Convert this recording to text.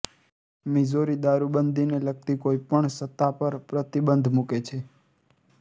Missouri દારૂબંધીને લગતી કોઇ પણ સત્તા પર પ્રતિબંધ મૂકે છે